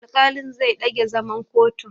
Alƙalin zai ɗage zaman kotun.